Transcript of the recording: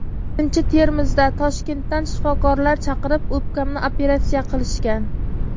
Birinchi Termizda Toshkentdan shifokorlar chaqirib, o‘pkamni operatsiya qilishgan.